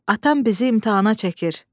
Atam bizi imtahana çəkir.